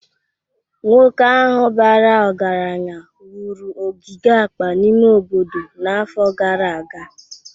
Nwoke ahụ bara ọgaranya wuru ogige akpa n'ime obodo n'afọ gara aga